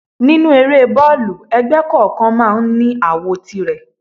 Nínú eré boolu, ẹgbẹ́ kọ̀ọ̀kan máa ń ní àwo tìrẹ.